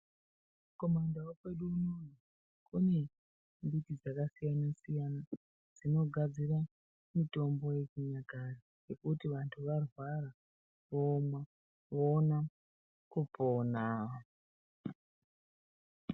Kumandau kwedu unono kune mbiti dzakasiyana-siyana, dzinogadzira mitombo yechinyakare yekuti kana vantu varwara vomwa voona kupona.